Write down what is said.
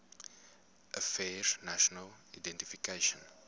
affairs national identification